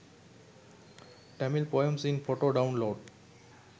tamil poems in photo download